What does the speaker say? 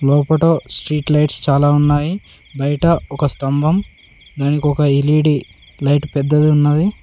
లోపట street lights చాలా ఉన్నాయి బయట ఒక స్తంభం దానికి ఒక ఎల్_ఈ_డి లైట్ పెద్దది ఉన్నది.